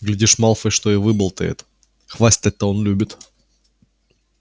глядишь малфой что и выболтает хвастать-то он любит